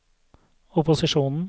opposisjonen